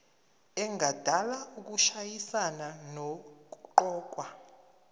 engadala ukushayisana nokuqokwa